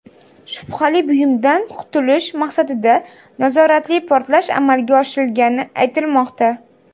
Shubhali buyumdan qutulish maqsadida nazoratli portlash amalga oshirilgani aytilmoqda.